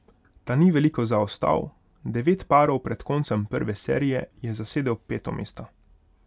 Ta ni veliko zaostal, devet parov pred koncem prve serije je zasedel peto mesto.